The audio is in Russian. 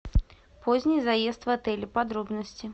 поздний заезд в отеле подробности